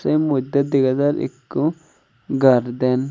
te muddey dega jar ikko garden.